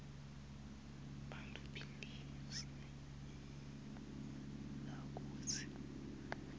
bantfu belive lakitsi